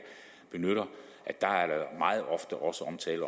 benytter er der meget ofte også omtale